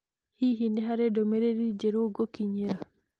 Hihi nĩ harĩ ndũmĩrĩri njerũ ngũkinyĩra?